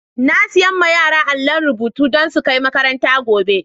Na siya ma yara na àllon rubutu don su kai makaranta gobe.